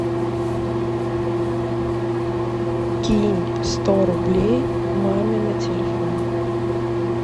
кинь сто рублей маме на телефон